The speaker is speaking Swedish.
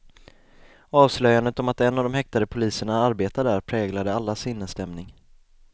Avslöjandet om att en av de häktade poliserna arbetar där präglade allas sinnesstämning.